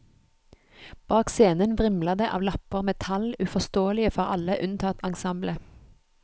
Bak scenen vrimler det av lapper med tall, uforståelige for alle unntatt ensemblet.